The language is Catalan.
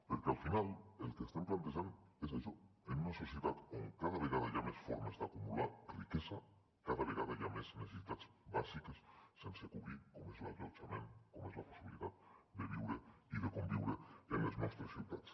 perquè al final el que estem plantejant és això en una societat on cada vegada hi ha més formes d’acumular riquesa cada vegada hi ha més necessitats bàsiques sense cobrir com és l’allotjament com és la possibilitat de viure i de conviure en les nostres ciutats